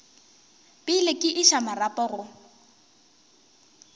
pele ke iša marapo go